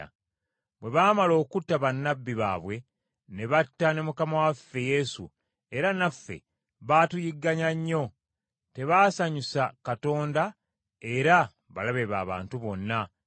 Bwe baamala okutta bannabbi baabwe, ne batta ne Mukama waffe Yesu, era naffe baatuyigganya nnyo; tebaasanyusa Katonda era balabe b’abantu bonna,